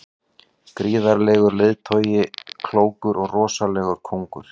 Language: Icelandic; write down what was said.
Gríðarlegur leiðtogi, klókur og rosalegur kóngur.